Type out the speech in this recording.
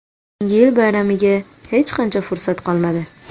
Yangi yil bayramiga hech qancha fursat qolmadi.